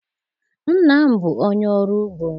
Nna m bụ onye ọrụ ugbo.